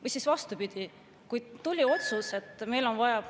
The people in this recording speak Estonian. Või siis vastupidi, kui tuli otsus, et meil on vaja …